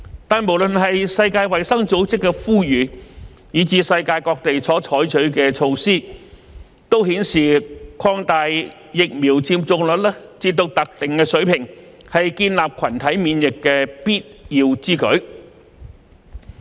但是，無論是世界衞生組織的呼籲，以至世界各地所採取的措施，都顯示提高疫苗接種率至特定水平是建立群體免疫的必要之舉。